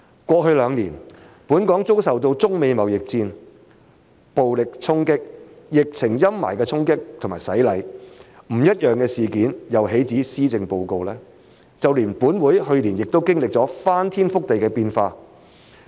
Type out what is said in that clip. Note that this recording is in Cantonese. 過去兩年，本港遭受中美貿易戰、暴力衝擊、疫情陰霾的衝擊和洗禮，不一樣的事件又豈止施政報告，就連本會去年也經歷了翻天覆地的變化。